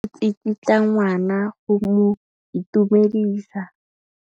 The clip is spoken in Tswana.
Mme o tsikitla ngwana go mo itumedisa.